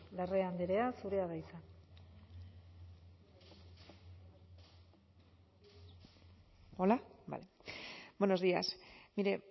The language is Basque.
larrea andrea zurea da hitza hola buenos días mire